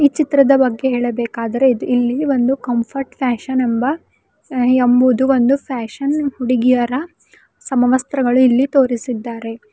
ಈ ಚಿತ್ರದ ಬಗ್ಗೆ ಹೇಳಬೇಕಾದರೆ ಇದ್ ಇಲ್ಲಿ ಒಂದು ಕಂಫರ್ಟ್ ಫ್ಯಾಷನ್ ಎಂಬ ಎಂಬುದು ಒಂದು ಫ್ಯಾಷನ್ ಹುಡುಗಿಯರ ಸಮವಸ್ತ್ರಗಳು ಇಲ್ಲಿ ತೋರಿಸಿದ್ದಾರೆ.